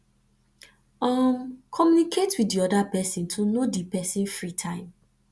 um communicate with di other person to know di person free time